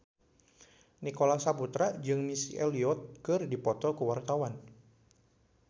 Nicholas Saputra jeung Missy Elliott keur dipoto ku wartawan